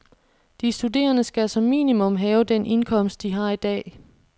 De studerende skal som minimum have den indkomst, de har i dag.